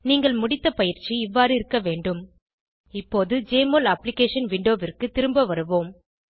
நீங்கள் முடித்த பயிற்சி இவ்வாறு இருக்க வேண்டும் இப்போது ஜெஎம்ஒஎல் அப்ளிகேஷன் விண்டோவிற்கு திரும்ப வருவோம்